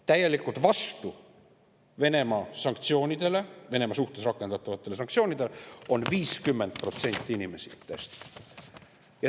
Täielikult vastu Venemaa suhtes rakendatavatele sanktsioonidele on 50% inimestest.